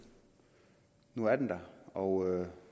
nu er den der og